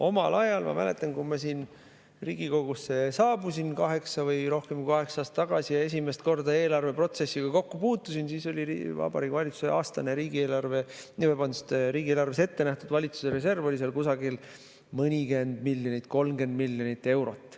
Omal ajal, ma mäletan, kui ma Riigikogusse saabusin kaheksa või rohkem kui kaheksa aastat tagasi ja esimest korda eelarveprotsessiga kokku puutusin, siis oli Vabariigi Valitsuse aastane riigieelarves ette nähtud reserv kuskil mõnikümmend miljonit, 30 miljonit eurot.